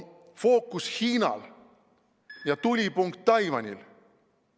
Fookus on Hiinal ja tulipunkt Taiwanil.